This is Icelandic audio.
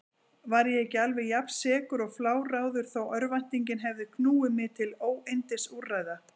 Var ég ekki alveg jafnsekur og fláráður þó örvæntingin hefði knúið mig til óyndisúrræða?